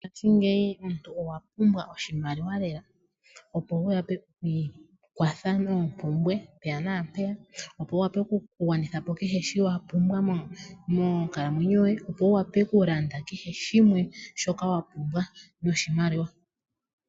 Mongaashingeyi omuntu owa pumbwa oshimaliwa lela, opo wu wape oku i kwatha moompumbwe mpeya naampeya, opo wu wape oku gwanitha po kehe shoka wa pumbwa monkalamwenyo yoye, opo wu wape oku landa kehe shimwe shoka wa pumbwa noshimaliwa.